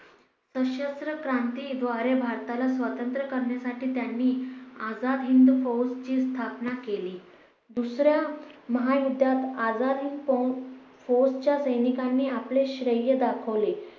सशस्त्र क्रांती द्वारे भारताला स्वातंत्र्य करण्यासाठी त्यांनी आजाद हिंद फौज ची स्थापना केली. दुसऱ्या महायुद्धात आझाद हिंद फौ फौजच्या सैनिकांनी आपले श्रेय दाखवले.